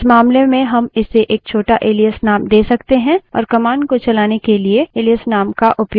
इस मामले में हम इसे एक छोटा एलाइस name दे सकते हैं और कमांड को चलाने के लिए एलाइस name का उपयोग कर सकते हैं